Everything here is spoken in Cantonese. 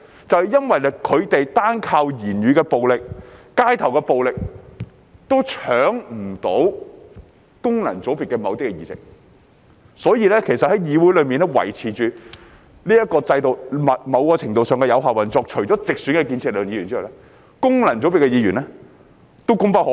正因他們單靠言語暴力和街頭暴力都不能奪去功能界別的某些議席，所以在議會中維持這個制度，某程度上是有效運作，除建設力量的直選議員之外，功能界別的議員也功不可沒。